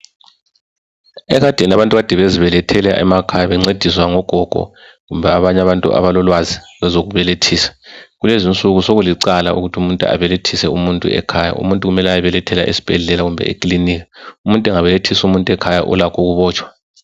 Ekadeni abantu kade bebezibelethela emakhaya bencediswa ngogogo kumbe abanye abantu abalolwazi lezokubelethisa. Kulezi insuku sokulicala ukuthi umuntu abelethise umuntu ekhaya umuntu kumele ayebelethele esibhendlela noma ekilinika umuntu engabelethisa umuntu ekhaya ulakho ukubotshwa.